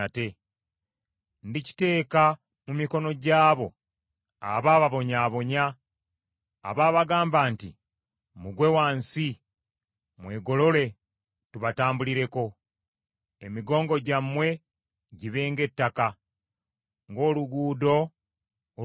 Ndikiteeka mu mikono gy’abo abaababonyaabonya abaabagamba nti, ‘Mugwe wansi mwegolole tubatambulireko.’ Emigongo gyammwe gibe ng’ettaka, ng’oluguudo olw’okulinnyirira.”